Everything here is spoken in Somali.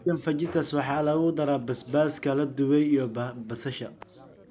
Chicken fajitas waxaa lagu daraa basbaaska la dubay iyo basasha.